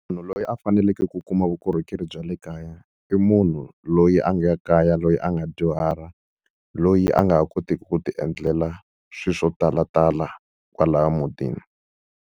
Munhu loyi a faneleke ku kuma vukorhokeri bya le kaya, i munhu loyi a nga ya kaya loyi a nga dyuhala. Loyi a nga ha kotiki ku ti endlela swilo swo talatala kwalahaya mutini.